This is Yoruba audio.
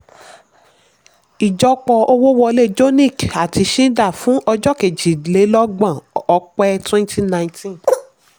ijọ́pọ̀ owó wọlé jonick àti schneider fún ọjọ́ kejìlélọ́gbọ̀n ọ̀pẹ twenty nineteen